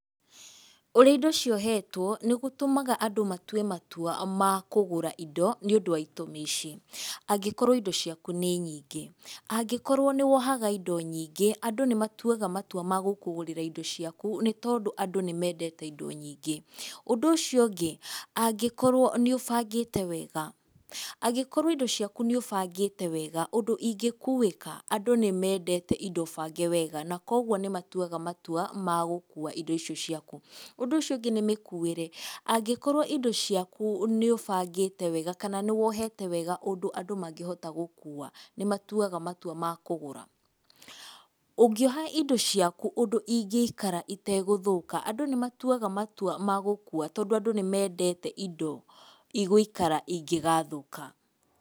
Ũrĩa indo ciohetwo, nĩ gũtũmaga andũ matue matua ma kũgũra indo nĩ ũndũ wa itũmi ici; angĩkorwo indo ciaku nĩ nyingĩ, angikorwo nĩ wohaga indo nyingĩ andu nĩ matuaga matua ma gũkũgũrĩra indo ciaku nĩ tondũ andũ nĩ mendete indo nyingĩ. Ũndũ ũcio ũngĩ angĩkorwo nĩ ũbangĩte wega angĩkorwo indo ciaku nĩ ũbangĩte wega ũndũ ingĩkuĩka. Andũ nĩ mendete indo bange wega na kwoguo nĩ matuaga matua ma gũkua indo icio ciaku. Ũndũ ũcio ũngĩ nĩ mĩkuĩre, angĩkorwo indo ciaku nĩ ũbangĩte wega kana nĩ wohete wega ũndũ andũ mangĩhota gũkua, nĩ matuaga matua ma kũgũra. Ũngĩoha indo ciaku ũndũ ingĩikara itegũthũka, andũ nĩ matuaga matua ma gũkua tondũ andũ nĩ mendete igũikara ingĩgathũka.